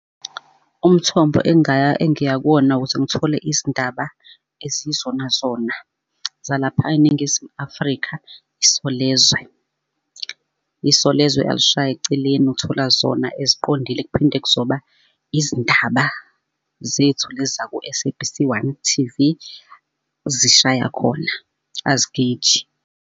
Umthombo engiya kuwona, ukuze ngithole izindaba eziyizona zona zalapha eNingizimu Afrika, Isolezwe. Isolezwe alishayi eceleni uthola zona eziqondile kuphinde kuzoba izindaba zethu lezi zaku-S_A_B_C one T_V, zishaya khona azigeji.